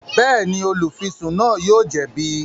Bẹẹni, olufisun náà yóò jẹbi